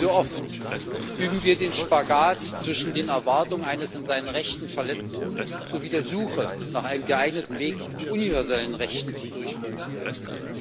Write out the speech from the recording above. Wie so oft üben wir den Spagat zwischen den Erwartungen eines in seinen Rechten Verletzten und der Suche nach einem geeigneten Weg, universellen Rechten zum Durchbruch zu verhelfen.